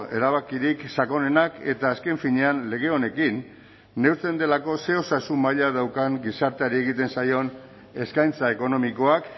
erabakirik sakonenak eta azken finean lege honekin neurtzen delako ze osasun maila daukan gizarteari egiten zaion eskaintza ekonomikoak